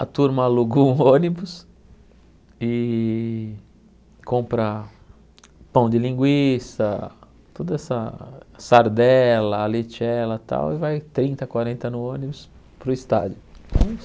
a turma alugou um ônibus e compra pão de linguiça, toda essa sardela, lechela e tal, e vai trinta, quarenta no ônibus para o estádio.